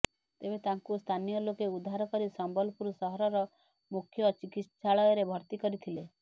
ତେବେ ତାଙ୍କୁ ସ୍ଥାନୀୟ ଲୋକ ଉଦ୍ଧାର କରି ସମ୍ବଲପୁର ସହରର ମୁଖ୍ୟ ଚିକିଶ୍ଚାଳୟରେ ଭର୍ତ୍ତି କରିଥିଲେ